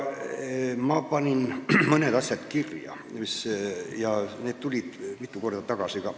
Ma panin mõned asjad kirja ja need tulid mitu korda kõne alla ka.